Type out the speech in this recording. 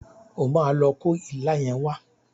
O máa lo kó ilá yẹn wá.